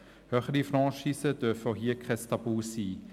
Höhere Franchisen dürfen auch hier kein Tabu sein.